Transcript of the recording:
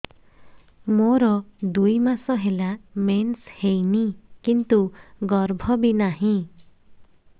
ମୋର ଦୁଇ ମାସ ହେଲା ମେନ୍ସ ହେଇନି କିନ୍ତୁ ଗର୍ଭ ବି ନାହିଁ